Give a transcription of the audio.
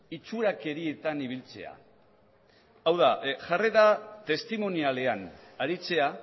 itxurakerietan ibiltzea hau da jarrera testimonialean aritzea